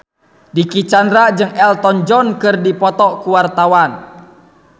Dicky Chandra jeung Elton John keur dipoto ku wartawan